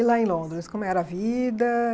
E lá em Londres, como era a vida?